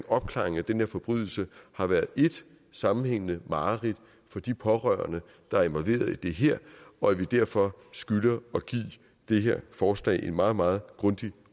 opklaringen af den her forbrydelse har været ét sammenhængende mareridt for de pårørende der er involveret i det her og at vi derfor skylder at give det her forslag en meget meget grundig